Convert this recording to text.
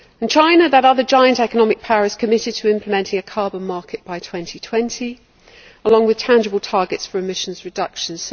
China that other giant economic power is committed to implementing a carbon market by 2020, along with tangible targets for emissions reductions.